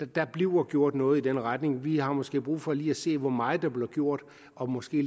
der bliver gjort noget i den retning vi har måske brug for lige at se hvor meget der bliver gjort og måske